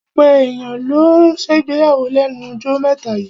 Ọ̀pọ̀ èyàn ló ń ṣègbéyàwó lẹ́nu jọ́ mẹ́ta yíì.